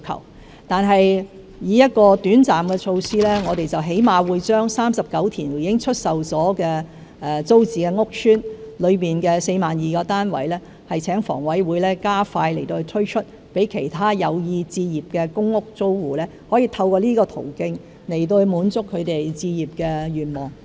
然而，作為一項短暫的措施，我們最低限度會把39個已出售的租置屋邨中的 42,000 個單位，請房委會加快推出，讓其他有意置業的公屋租戶可以透過這個途徑來滿足他們置業的願望。